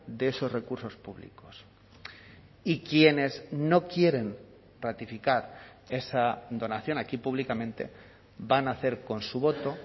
de esos recursos públicos y quienes no quieren ratificar esa donación aquí públicamente van a hacer con su voto